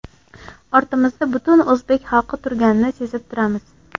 Ortimizda butun o‘zbek xalqi turganini sezib turamiz.